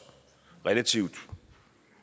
relativt